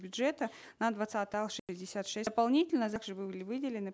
бюджета на двадцатый шестьдесят шесть дополнительно были выделены